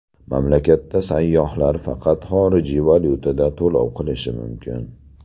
Mamlakatda sayyohlar faqat xorijiy valyutada to‘lov qilishi mumkin.